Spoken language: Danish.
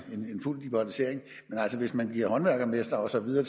fuld liberalisering men altså hvis man giver håndværksmestre og så videre